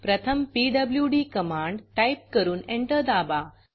प्रथम PWD command type करून enter दाबा